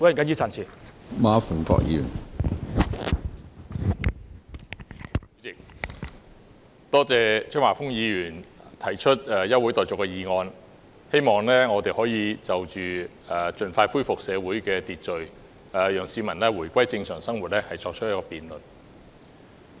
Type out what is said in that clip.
主席，多謝張華峰議員提出休會待續議案，希望我們可以就着如何盡快恢復社會秩序，讓市民回歸正常生活，作出辯論。